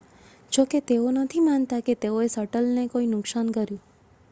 જો કે તેઓ નથી માનતા કે તેઓએ શટલને કોઈ નુકસાન કર્યું